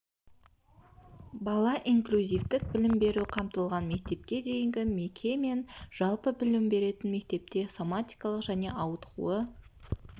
бала инклюзивтік білім берумен қамтылған мектепке дейінгі меке мен жалпы білім беретін мектепте соматикалық және ауытқуы